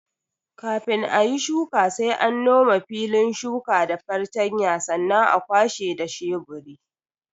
Kafin ayi shuka sai an nome filin shuka da fartanya sannan a kwashe da sheburi.